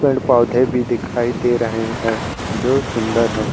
पेंड पौधे भी दिखाई दे रहे हैं जो सुंदर हैं।